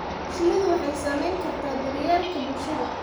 Shinnidu waxay saamayn kartaa daryeelka bulshada.